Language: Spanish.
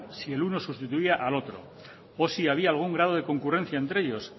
si el uno sustituía al otro o si había algún grado de concurrencia entre ellos